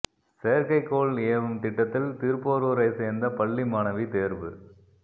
செயற்கைக்கோள் ஏவும் திட்டத்தில் திருப்போரூரை சேர்ந்த பள்ளி மாணவி தேர்வு